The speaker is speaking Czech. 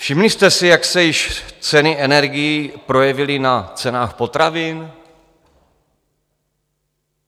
Všimli jste si, jak se již ceny energií projevily na cenách potravin?